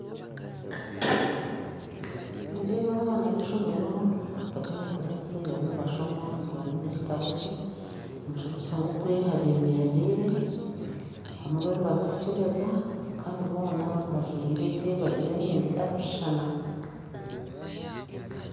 Nindeeba aha abaana b'eishomero bari omu kiraasi bariyo nibashoma buri omwe aine ekitabo kye omushomesa ngugwo abemerereire abamwe bariyo nibaza kukyebeza Kandi boona bajwaire gye bajwaire emyenda etarikushushana